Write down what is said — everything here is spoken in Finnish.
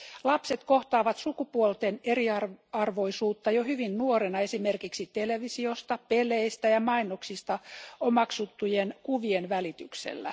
Lapset kohtaavat sukupuolten eriarvoisuutta jo hyvin nuorena, esimerkiksi televisiosta, peleistä ja mainoksista omaksuttujen kuvien välityksellä.